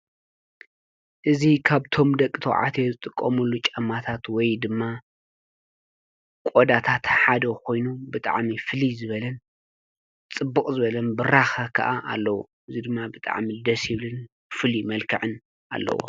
እዙ ኻብቶም ደቂ ተውዓትየ ዘጥቆሙሉ ጨማታት ወይ ድማ ቖዳታተሓደ ኾይኑ ብጥዓሚ ፍሊ ዝበለን ጽቡቕ ዝበለን ብራኸ ኸዓ ኣለዉ እይ ድማ ብጥዓሚ ደስ ብልን ፍል መልከዕን ኣለዎ።